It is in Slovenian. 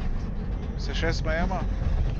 Se še smejemo?